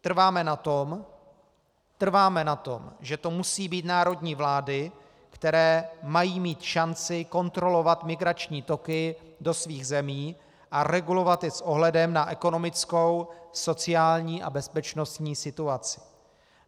Trváme na tom, že to musí být národní vlády, které mají mít šanci kontrolovat migrační toky do svých zemí a regulovat je s ohledem na ekonomickou, sociální a bezpečnostní situaci.